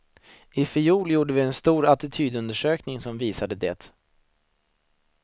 Ifjol gjorde vi en stor attitydundersökning som visade det.